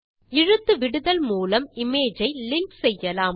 இழுத்துவிடுதல் மூலம் இமேஜ் ஐ லிங்க் செய்யலாம்